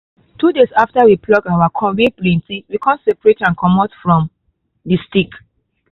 two days after we pluck our corn wey plenty we con separate am comot from the stick